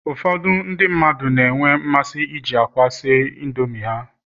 Ụfọdụ ndị mmadụ na-enwe mmasị iji akwa si Indomi ha